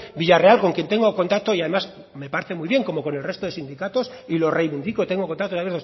villarreal con quien tengo contacto y además me parece muy bien como con el resto de sindicatos y lo reivindico tengo contacto también